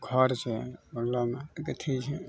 घर छे गथी छे।